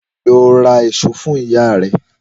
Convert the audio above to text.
Lọ ra èso fún ìyá rẹ̀!